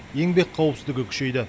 еңбек қауіпсіздігі күшейді